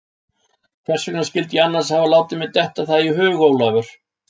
Hvers vegna skyldi ég annars hafa látið mér detta það í hug, Ólafur?